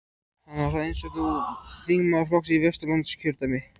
Hann var þá, eins og nú, þingmaður flokksins í Vesturlandskjördæmi.